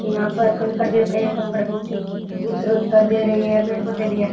यहाँ पर कंकड़ भी पड़े है कंकड़ दो तीन दिखाई दे रे है पेड़ पौधे भी है।